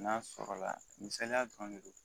Na sɔrɔla la misaliya dɔrɔn de do